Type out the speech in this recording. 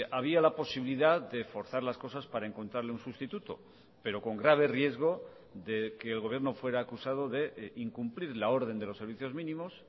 había la posibilidad de forzar las cosas para encontrarle un sustituto pero con grave riesgo de que el gobierno fuera acusado de incumplir la orden de los servicios mínimos